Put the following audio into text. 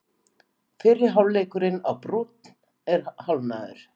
Fyrri hálfleikurinn á Brúnn er hálfnaður